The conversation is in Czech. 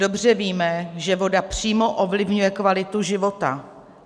Dobře víme, že voda přímo ovlivňuje kvalitu života.